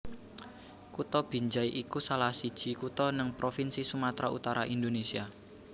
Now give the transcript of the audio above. Kutha Binjai iku salahsiji kutha neng provinsi Sumatra Utara Indonésia